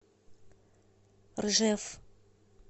ржев